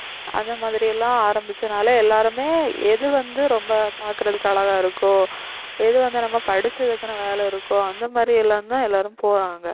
அந்த மாதிரி எல்லாம் ஆரம்பிச்சதுனால எல்லாருமே எது வந்து ரொம்ப பார்க்கிறதுக்கு அழகா இருக்கோ எது வந்து நம்ம படிச்சதுக்கான வேலை இருக்கோ அந்த மாதிரி எல்லாம்தான் எல்லாரும் போறாங்க